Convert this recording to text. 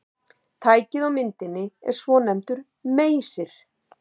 Tækið á myndinni er svonefndur meysir.